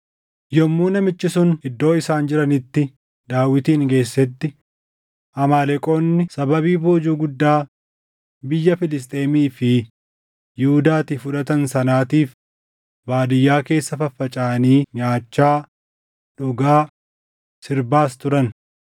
Yommuu namichi sun iddoo isaan jiranitti Daawitin geessetti, Amaaleqoonni sababii boojuu guddaa biyya Filisxeemii fi Yihuudaatii fudhatan sanaatiif baadiyyaa keessa faffacaʼanii nyaachaa, dhugaa, sirbaas turan.